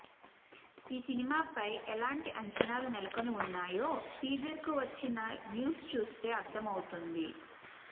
ఈ సినిమా ఫై ఎలాంటి అంచనాలు నెలకొని ఉన్నాయో టీజర్ కు వచ్చిన వ్యూస్ చూస్తే అర్ధం అవుతుంది